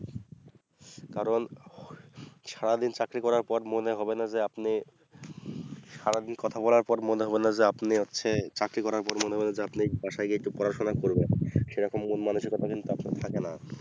কারণ সারা দিন চাকরি করার পর মনে হবে না আপনি সারা দিন কথা বলার পর মনে হবে না যে আপনি হচ্ছে চাকরি করা মনে হবে না আপনি বাসায় গিয়ে একটু পড়াশোনা করবো সেরকম মন মানসিকতা কিন্তু আসলে থাকে না